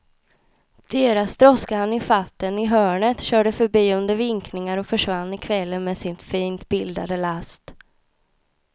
Deras droska hann ifatt honom i hörnet, körde förbi under vinkningar och försvann i kvällen med sin fint bildade last.